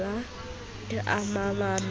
ke ke a mamella ho